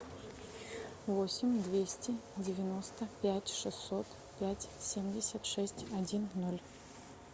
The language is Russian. восемь двести девяносто пять шестьсот пять семьдесят шесть один ноль